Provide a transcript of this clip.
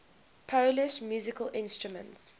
polish musical instruments